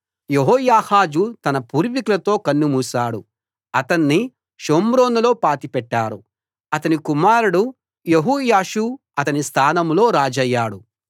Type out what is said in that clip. యెహోయాహాజు తన పూర్వికులతో కన్ను మూశాడు అతణ్ణి షోమ్రోనులో పాతిపెట్టారు అతని కుమారుడు యెహోయాషు అతని స్థానంలో రాజయ్యాడు